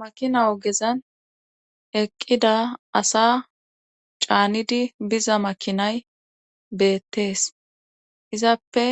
Makina ogezan eqqida asa caanidi biza makinay beettees izappe